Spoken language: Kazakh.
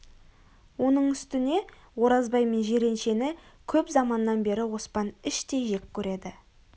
оның үстіне оразбай мен жиреншені көп заманнан бері оспан іштей жек көреді